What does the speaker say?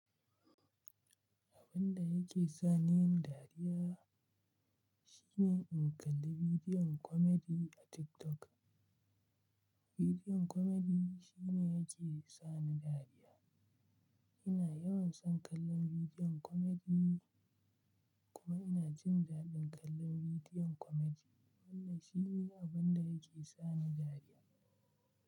Abun da yake sa ni dariya shine in kalla bidiyon komedi a TikTok. Bidiyon komedi shine yake sani dariya. Ina yawan son kallon bidiyon komedi kuma ina jin daɗin kallon bidiyon komedi. Wannan shi ne abun da yake sa ni dariya.